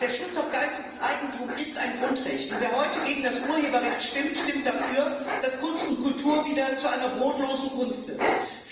Der Schutz geistigen Eigentums ist ein Grundrecht, und wer heute gegen das Urheberrecht stimmt, stimmt dafür, dass Kunst und Kultur wieder zu einer brotlosen Kunst werden.